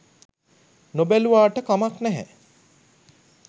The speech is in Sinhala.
නොබැලුවට කමක් නැහැ.